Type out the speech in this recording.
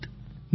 નમસ્કાર